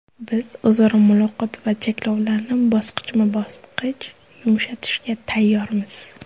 Biz o‘zaro muloqot va cheklovlarni bosqichma-bosqich yumshatishga tayyormiz.